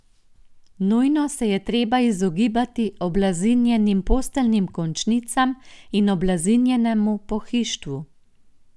Nujno se je treba izogibati oblazinjenim posteljnim končnicam in oblazinjenemu pohištvu.